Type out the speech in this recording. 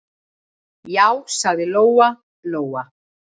Já, sagði Lóa-Lóa.